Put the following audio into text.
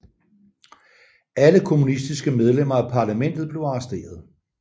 Alle kommunistiske medlemmer af parlamentet blev arresteret